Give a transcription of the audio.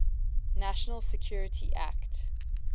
national security act